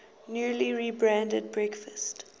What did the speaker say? newly rebranded breakfast